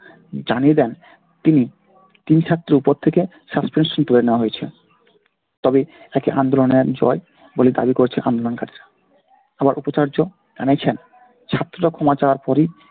জানিয়ে দেন তিনি তিন ছাত্রর উপর থেকে suspension তুলে নেওয়া হয়েছে। তবে তাকে আন্দোলনের জয় বলে দাবি করছে আন্দোলনকারীরা। আবার উপাচার্য জানিয়েছেন ছাত্ররা ক্ষমা চাওয়ার পরেই